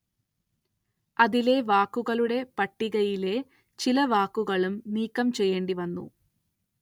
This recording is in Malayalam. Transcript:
അതിലെ വാക്കുകളുടെ പട്ടികയിലെ ചില വാക്കുകളും നീക്കം ചെയ്യേണ്ടി വന്നു.